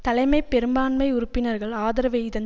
தலைமை பெரும்பான்மை உறுப்பினர்கள் ஆதரவை இதன்